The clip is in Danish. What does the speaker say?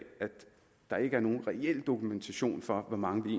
der ikke er nogen reel dokumentation for hvor mange